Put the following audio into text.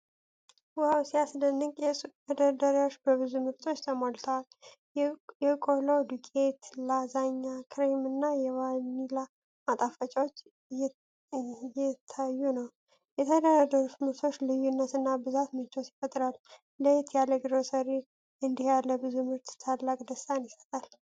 ዋው ሲያስደንቅ! የሱቅ መደርደሪያዎች በብዙ ምርቶች ተሞልተዋል። የቆሎ ዱቄት፣ ላዛኛ፣ ክሬም እና የቫኒላ ማጣፈጫዎች እየታዩ ነው። የተደረደሩት ምርቶች ልዩነት እና ብዛት ምቾት ይፈጥራል። ለየት ያለ ግሮሰሪ! እንዲህ ያለ ብዙ ምርት ታላቅ ደስታን ይሰጣል!